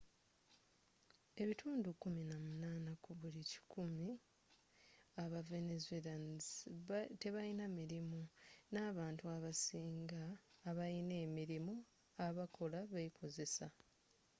ebitundu kumi na munana ku buli kikumi aba venezuelans tebayina mirimu, ne abantu abasinga abayina emirirmu abakola be kozesa